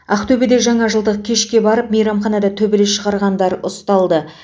ақтөбеде жана жылдық кешке барып мейрамханада төбелес шығарғандар ұсталды